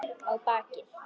Á bakið.